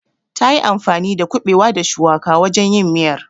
Tayi anfani da kuɓewa da shuwaka wajen yin miyar.